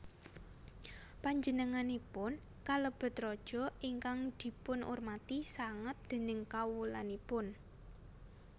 Panjenenganipun kalebet raja ingkang dipunurmati sanget déning kawulanipun